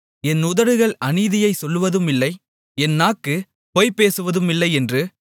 என் உதடுகள் அநீதியைச் சொல்வதுமில்லை என் நாக்கு பொய் பேசுவதுமில்லையென்று